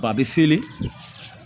Ba bɛ seli